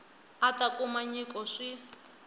a ta kuma nyiko swi